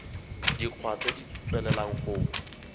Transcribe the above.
dikgwa tse di tswelelang go